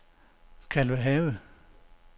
Kalvehave